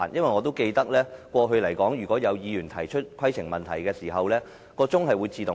我記得以往當議員提出規程問題時，計時器會自動暫停。